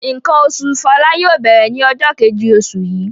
Nǹkan oṣù Fọlá yóò bẹ̀rẹ̀ ní ọjọ́ kejì oṣù yìí.